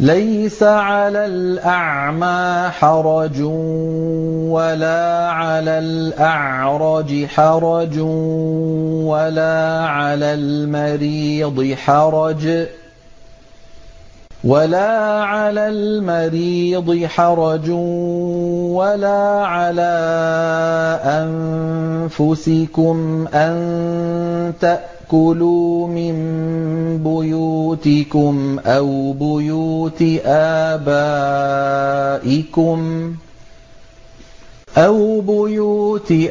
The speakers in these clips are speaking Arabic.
لَّيْسَ عَلَى الْأَعْمَىٰ حَرَجٌ وَلَا عَلَى الْأَعْرَجِ حَرَجٌ وَلَا عَلَى الْمَرِيضِ حَرَجٌ وَلَا عَلَىٰ أَنفُسِكُمْ أَن تَأْكُلُوا مِن بُيُوتِكُمْ أَوْ بُيُوتِ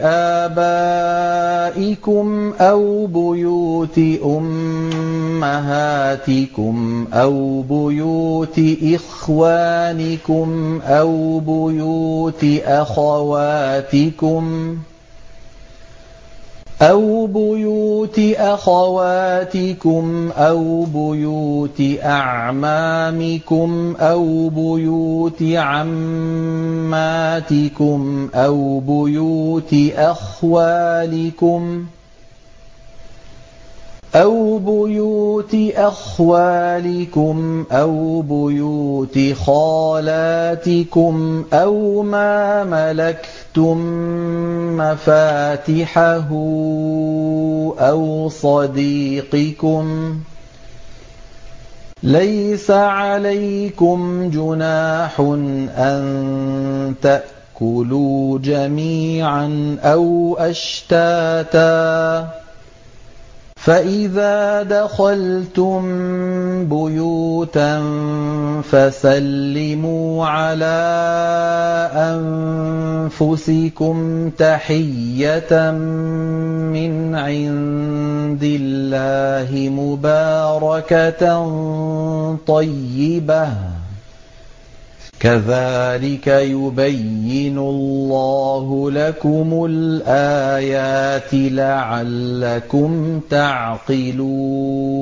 آبَائِكُمْ أَوْ بُيُوتِ أُمَّهَاتِكُمْ أَوْ بُيُوتِ إِخْوَانِكُمْ أَوْ بُيُوتِ أَخَوَاتِكُمْ أَوْ بُيُوتِ أَعْمَامِكُمْ أَوْ بُيُوتِ عَمَّاتِكُمْ أَوْ بُيُوتِ أَخْوَالِكُمْ أَوْ بُيُوتِ خَالَاتِكُمْ أَوْ مَا مَلَكْتُم مَّفَاتِحَهُ أَوْ صَدِيقِكُمْ ۚ لَيْسَ عَلَيْكُمْ جُنَاحٌ أَن تَأْكُلُوا جَمِيعًا أَوْ أَشْتَاتًا ۚ فَإِذَا دَخَلْتُم بُيُوتًا فَسَلِّمُوا عَلَىٰ أَنفُسِكُمْ تَحِيَّةً مِّنْ عِندِ اللَّهِ مُبَارَكَةً طَيِّبَةً ۚ كَذَٰلِكَ يُبَيِّنُ اللَّهُ لَكُمُ الْآيَاتِ لَعَلَّكُمْ تَعْقِلُونَ